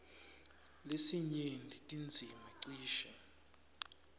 lesinyenti tindzima cishe